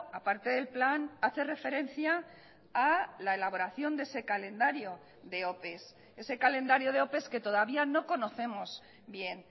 a parte del plan hace referencia a la elaboración de ese calendario de ope ese calendario de ope que todavía no conocemos bien